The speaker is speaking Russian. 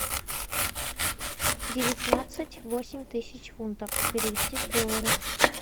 девятнадцать восемь тысяч фунтов перевести в доллары